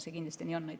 See kindlasti nii on.